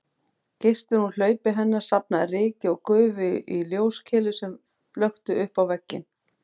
Geislinn úr hlaupi hennar safnaði ryki og gufu í ljóskeilu sem flökti uppá vegginn